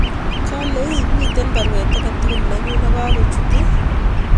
Kale ii miten baruet age tugul nenyun negakochut ii